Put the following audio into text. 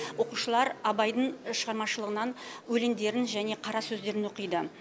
оқушылар абайдың шығармашылығынан өлеңдерін және қара сөздерін оқиды